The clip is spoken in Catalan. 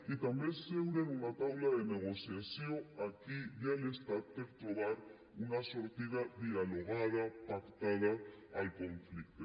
i també seure en una taula de negociació aquí i a l’estat per trobar una sortida dialogada pactada al conflicte